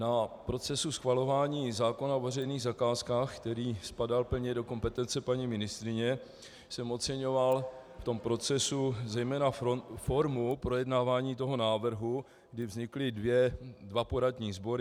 Na procesu schvalování zákona o veřejných zakázkách, který spadá plně do kompetence paní ministryně, jsem oceňoval v tom procesu zejména formu projednávání toho návrhu, kdy vznikly dva poradní sbory.